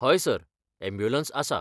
हय sir, ambulance आसा.